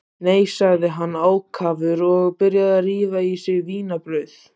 Nei, sagði hann ákafur og byrjaði að rífa í sig vínarbrauð.